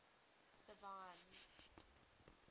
divine